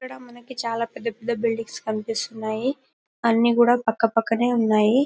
ఇక్కడ మనకి చాల పెద్ద పెద్ద బిల్డింగ్స్ కనిపిస్తున్నాయి అని కూడా పక్కపక్కనే ఉన్నాయి.